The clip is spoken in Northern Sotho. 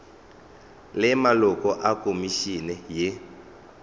le maloko a khomišene ye